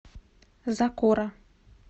закора